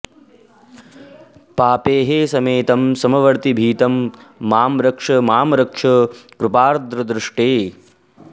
पापैः समेतं समवर्तिभीतं मां रक्ष मां रक्ष कृपार्द्रदृष्टे